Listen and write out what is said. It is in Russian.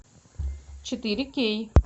четыре кей